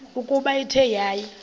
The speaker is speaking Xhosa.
ukuba ithe yaya